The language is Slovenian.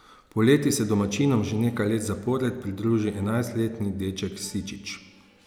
Poleti se domačinom že nekaj let zapored pridruži enajstletni deček Sičič.